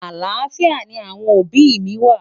àlàáfíà ní àwọn òbí mí wà